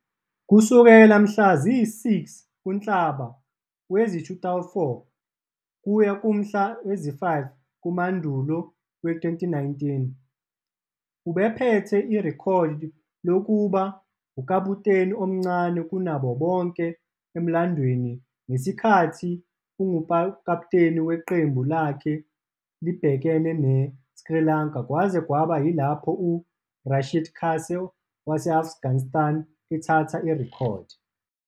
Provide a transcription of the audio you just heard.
Kusukela mhla ziyisi-6 kuNhlaba wezi-2004 kuya kumhla zi-5 kuMandulo wezi-2019, ubephethe irekhodi lokuba ukaputeni omncane kunabo bonke emlandweni ngesikhathi engukaputeni weqembu lakhe libhekene ne- Sri Lanka kwaze kwaba yilapho u- Rashid Khan wase- Afghanistan ethatha irekhodi.